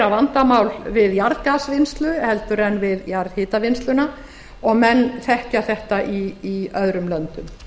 vandamál við jarðgasvinnslu en við jarðhitavinnsluna og menn þekkja þetta í öðrum löndum